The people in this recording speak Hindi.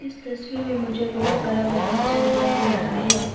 इस तस्वीर में मुझे बहोत बड़ा बगीचा दिखाई दे रहा है।